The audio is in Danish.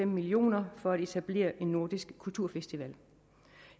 millioner for at etablere en nordisk kulturfestival